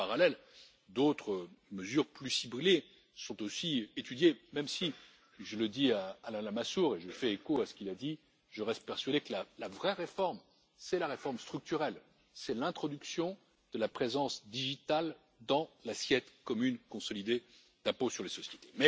En parallèle, d'autres mesures plus ciblées sont aussi étudiées, même si je le dis à Alain Lamassoure et je fais écho à ce qu'il a dit je reste persuadé que la vraie réforme, c'est la réforme structurelle, c'est l'introduction de la présence numérique dans l'assiette commune consolidée pour l'impôt sur les sociétés.